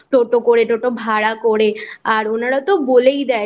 টোটো করে টোটো ভাড়া করে আর ওনারা তো বলেই দেয়